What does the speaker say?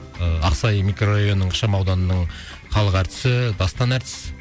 ақсай микрорайонының ықшам ауданының халық әртісі дастан әртіс